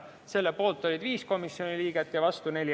Selle poolt oli 5 komisjoni liiget ja vastu 4.